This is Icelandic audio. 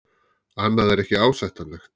Annað er ekki ásættanlegt.